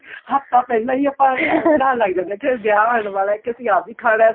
ਹੱਫ਼ਤਾਂ ਪਹਿਲੇ ਹੀ ਆਪਾਂ ਉਹ ਬਣਨ ਲੱਗ ਜਾਂਦੇ ਹਾਂ ਵਿਆਹ ਆਉਣ ਵਾਲਾ ਕੇ ਅਸੀਂ ਆਵੀਂ ਖਾਣਾ